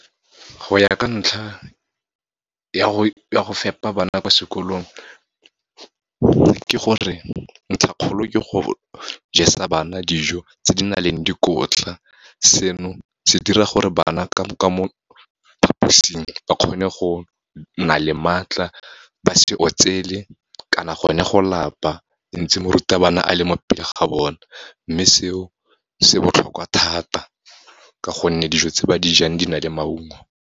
Go ya ka ntlha ya go fepa bana kwa sekolong, ke gore ntlhakgolo ke go jesa bana dijo tse di nang le dikotla. Seno se dira gore bana ka mo phaposing ba kgone go na le maatla, ba se otsele kana gone go lapa, ntse morutabana a le mo pele ga bone. Mme seo, se botlhokwa thata, ka gonne dijo tse ba dijang di na le maungo.